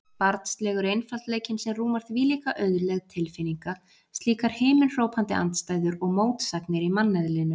Barnslegur einfaldleikinn sem rúmar þvílíka auðlegð tilfinninga, slíkar himinhrópandi andstæður og mótsagnir í manneðlinu.